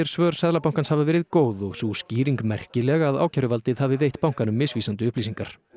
svör Seðlabankans hafa verið góð og sú skýring væri merkileg að ákæruvaldið hafi veitt bankanum misvísandi upplýsingar